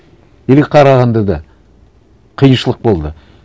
или қарағандыда қиыншылық болды